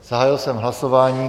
Zahájil jsem hlasování.